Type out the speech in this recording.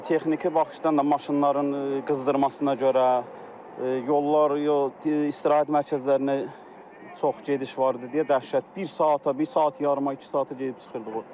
Texniki baxışdan da maşınların qızdırmasına görə yollar yox istirahət mərkəzlərinə çox gediş var idi deyə dəhşət bir saata, bir saat yarıma, iki saata gedib çıxırdıq o.